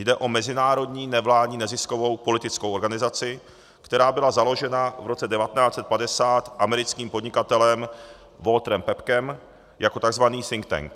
Jde o mezinárodní nevládní neziskovou politickou organizaci, která byla založena v roce 1950 americkým podnikatelem Walterem Paepckem jako tzv. think-tank.